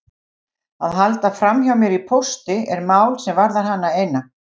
Að halda framhjá mér í pósti er mál sem varðar hana eina.